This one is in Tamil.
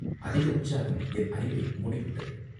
அதிக உற்சாகம் என் அறிவை மூடிவிட்டது.